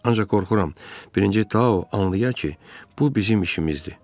Ancaq qorxuram, birinci Tao anlaya ki, bu bizim işimizdir.